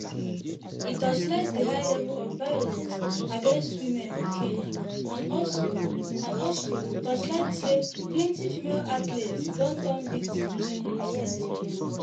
e torchlight di high level of violence against women for kenya and also also torchlight say plenti female athletes don turn victims in recent years.